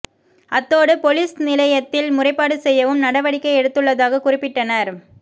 அத்தோடு பொலிஸ் நிலையத்தில் முறைப்பாடு செய்யவும் நடவடிக்கை எடுத்துள்ளதாக குறிப்பிட்டனர்